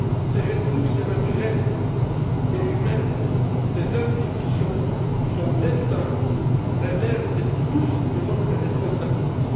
Ses ressources naturelles et humaines, ses institutions, son destin, relèvent tous de notre responsabilité.